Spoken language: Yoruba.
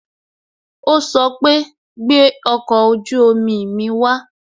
O sọ pé "gbẹ ọkọ ojú omi mi wa